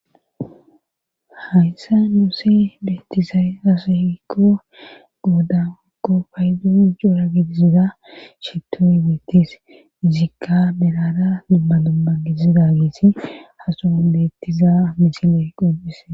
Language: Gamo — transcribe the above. Hayssa nuuse beettizay rasohikko goodanakko paydu joora gidisida shettoy weettis zikka berara dummadomma gidizida geesi hasoon beettiza micile qomphise